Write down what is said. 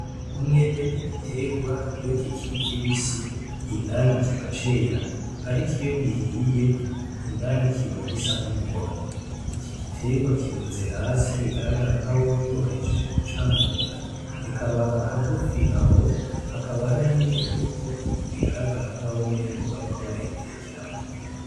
Umwembe n’igiterwa iyo kikiri kibisi indani kiba cera ariko iyo gihiye indani kiba gisa n’umuhondo . Iki giterwa kirunze hasi bigaragara nk’aho umengo bahejeje kucamura , bikaba hagufi aho hakaba hari n’ imifuko bigaragara nk’aho umengo bariko barayitekeramwo.